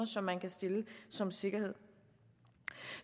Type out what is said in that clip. som man kan stille som sikkerhed